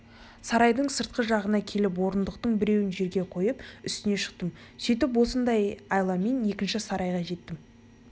сарайдың сыртқы жағынан келіп орындықтың біреуін жерге қойып үстіне шықтым сөйтіп осындай айламен ішкі сарайға жеттім